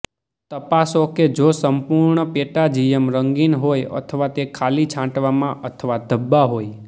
તપાસો કે જો સંપૂર્ણ પેટાજીયમ રંગીન હોય અથવા તે ખાલી છાંટવામાં અથવા ધબ્બા હોય